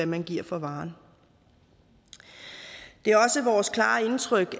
man giver for varen det er også vores klare indtryk